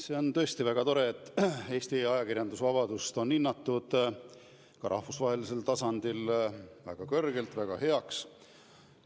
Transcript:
See on tõesti väga tore, et Eesti ajakirjandusvabadust on hinnatud ka rahvusvahelisel tasandil väga kõrgelt, väga heaks.